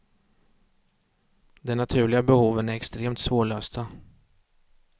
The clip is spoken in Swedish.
De naturliga behoven är extremt svårlösta.